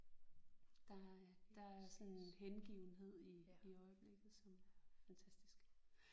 Der er der er sådan en hengivenhed i i øjeblikket som er fantastisk